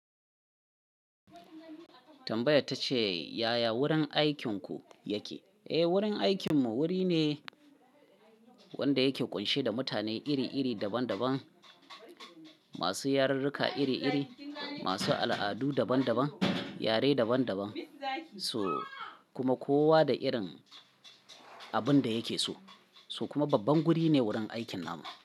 Tambaya ta ce yaya wurin aikinku yake? Eh, wurin aikinmu wuri ne wanda yake ƙunshe da mutane iri-iri, daban-daban, masu yarurruka iri-iri, masu al'adu daban-daban, yare daban-daban, so kuma kowa da irin abin da yake so, so kuma babban guri ne wurin aikin namu.